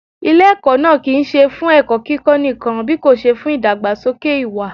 Ilé ẹ̀kọ́ náà kì ń ṣe fún ẹ̀kọ́ kíkó nìkan bíkòṣe fún ìdàgbàsókè ìwà.